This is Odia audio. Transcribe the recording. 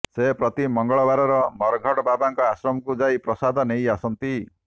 ସେ ପ୍ରତି ମଙ୍ଗଳବାର ମରଘଟ ବାବାଙ୍କ ଆଶ୍ରମକୁ ଯାଇ ପ୍ରସାଦ ନେଇ ଆସନ୍ତି